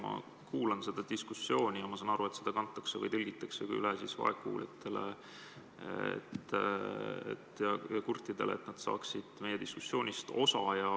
Ma kuulan seda diskussiooni ja saan aru, et seda tõlgitakse ka vaegkuuljatele ja kurtidele, et nad saaksid meie diskussioonist osa.